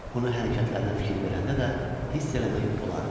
Onun hərəkətlərinə fikir verəndə də hiss eləmək olardı.